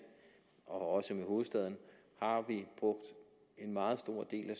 og også med region hovedstaden brugt en meget stor del af